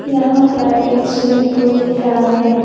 यहां पर एक स्विमिंग पूल दिख रहा है।